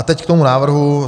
A teď k tomu návrhu.